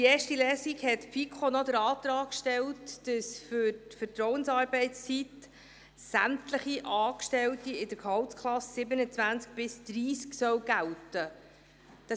In erster Lesung hatte die FiKo den Antrag gestellt, dass die Vertrauensarbeitszeit für sämtliche Angestellten der Gehaltsklassen 27–30 gelten soll.